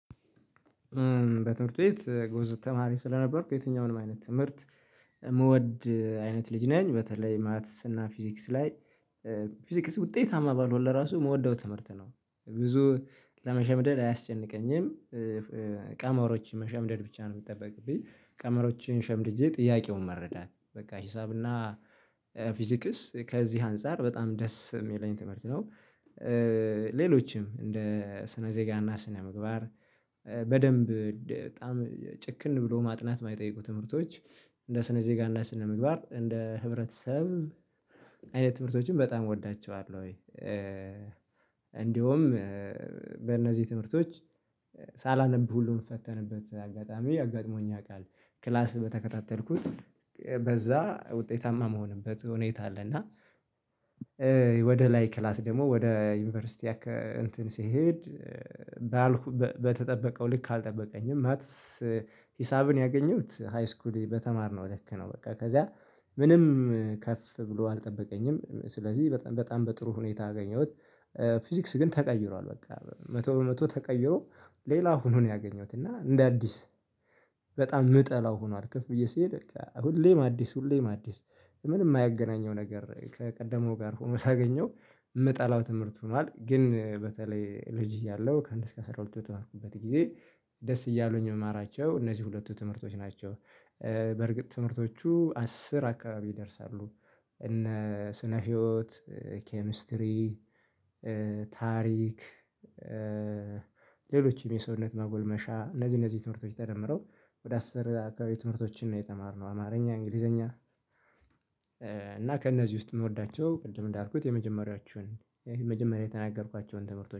በትምህርት ቤት ጉዞ ተማሪ ስለነበርኩ የትኛውንም አይነት ትምህርት ምወደድ አይነት ልጅ ነኝ በተለይ ማትስ እና ፊዚክስ ላይ። ፊዚክስ ውጤታማ ባልሆን ለራሱ ምወደው ትምህርት ነው ብዙ ለመሸምደድ አያስጨንቀኝም። ቀመሮችን መሸምደድ ብቻ ነው ሚጠበቅብኝ ቀመሮችን ሸምድጄ ጥያቄውን መረዳት በቃ ሂሳብ እና። ፊዚክስ ከዚህ አንፃር በጣም ደስ እሚለኝ ትምህርት ነው። ሌሎችም እንደ ስነ ዜጋ እና ስነ ምግባር። በደንብ በጣም ጭክን ብሎ ማጥናት ማይጠይቁ ትምህርቶች። እንደ ስነ ዜጋ እና ስነ ምግባር እንደ ህብረተሰብ አይነት ትምህርቶችን በጣም እወዳቸዋለሁኝ። እንዲሁም በእነዚህ ትምህርቶች ሳላነብ ሁሉ ምፈተንበት አጋጣሚ አጋጥሞኝ ያውቃል። ክላስ በተከታተልኩት በዛ ውጤታማ ምሆንበት ሁኔታ አለ። እና ወደ ላይ ክላስ ደግሞ ወደ ዩኒቨርሲቲ እንትን ሲሄድ ባልኩ በተጠበቀው ልክ አልጠበቀኝም። ማትስ ሂሳብን ያገኘሁት ሃይስኩል በተማር ነው። ልክ ነው በቃ ከዛ ምንም ከፍ ብሎ አልጠበቀኝም። ስለዚህ በጣም በጣም በጥሩ ሁኔታ አገኘሁት። ፊዚክስ ግን ተቀይሯል በቃ መቶ በመቶ ተቀይሮ ሌላ ሆኖ ነው ያገኘሁት እና እንደ አዲስ በጣም ምጠላው ሆኗል። ክፍ ብዬ ስሄድ ሁሌም አዲስ ሁሌም አዲስ ምንም ማይገናኘው ነገር ከቀደመው ጋር ሆኖ ሳገኘው እምጠላው ትምህርት ሆኗል። ግን በተለይ ልጅ እያለሁ ከአንድ እስከ አስራ ሁለት በተማርኩበት ጊዜ። ደስ እያሉኝ እማራቸው እነዚህ ሁለቱ ትምህርቶች ናቸው። በርግጥ ትምህርቶቹ አስር አካባቢ ይደርሳሉ። እነ ስነ ህይወት ኬሚስትሪ ታሪክ። ሌሎችም የሰውነት መጎልመሻ እነዚህ እነዚህ ትምህርቶች ተደምረው ወደ አስር አካባቢ ትምህርቶችን ነው የተማርነው አማርኛ እንግሊዘኛ። እና ከእነዚህ ውስጥ ምወዳቸው ቅድም እንዳልኩት የመጀመሪያዎችን መጀመሪያ የተናገርኳቸውን ትምህርቶች